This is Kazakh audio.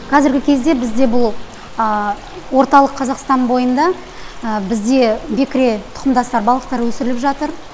қазіргі кезде бізде бұл орталық қазақстан бойында бізде бекіре тұқымдастар балықтар өсіріліп жатыр